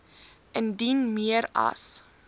indien meer as